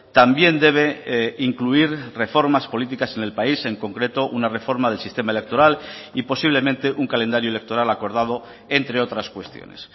también debe incluir reformas políticas en el país en concreto una reforma del sistema electoral y posiblemente un calendario electoral acordado entre otras cuestiones